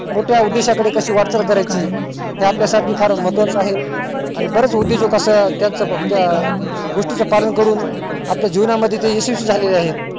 मोठ्या उद्देशाने कशी वाटचाल करायची ते आपल्या साठी फार महत्वा च आहे आणि बरेच उदयोजक असं त्याच्या गोष्टी च पालन करून मध्ये ते यशस्वी झालेले आहेत